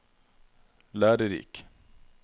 lærerik